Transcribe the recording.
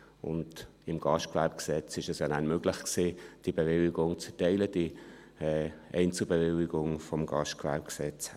Und mit dem Gastgewerbegesetz (GGG) war es ja nachher möglich, die Bewilligung zu erteilen, die Einzelbewilligung vom GGG her.